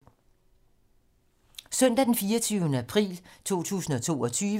Søndag d. 24. april 2022